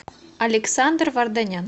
александр варданян